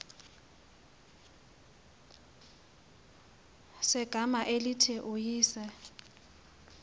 segama elithi uyise